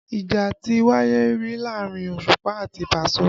Ìjà ti wáyé rí láàrin Òṣùpá àti Paso